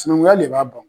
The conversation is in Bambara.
Sinankunya le b'a bɔ